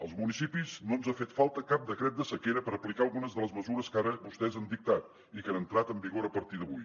als municipis no ens ha fet falta cap decret de sequera per aplicar algunes de les mesures que ara vostès han dictat i que han entrat en vigor a partir d’avui